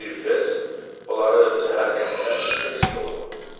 Beril Fells onları səhər qəhvə içə-içə oxudu.